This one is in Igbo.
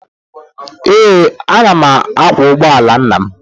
Ee, ana m akwọ ụgbọ ala nna m